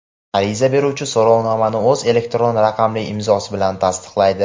Ariza beruvchi so‘rovnomani o‘z elektron raqamli imzosi bilan tasdiqlaydi.